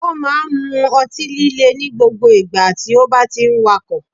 O máa n mu otí líle ní gbogbo ìgbà tí o bá ti n wakò